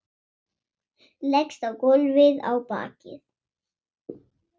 Leggst á gólfið á bakið.